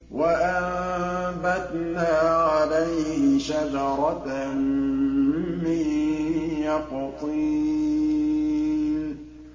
وَأَنبَتْنَا عَلَيْهِ شَجَرَةً مِّن يَقْطِينٍ